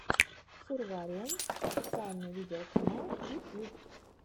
сурвариум официальный видеоканал ютьюб